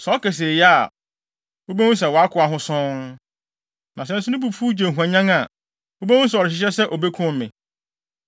Sɛ ɔka se, ‘Eye’ a, wubehu sɛ wʼakoa ho sɔnn. Na sɛ nso ne bo fuw, gye hwanyan a, wubehu sɛ ɔrehyehyɛ ho sɛ obekum me.